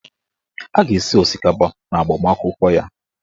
A ga-esi osikapa n'agbamakwụkwọ ya.